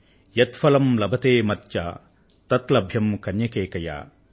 యత్ ఫలం లభతే మర్త్య తత్ లభ్యం కన్యకైకయా అని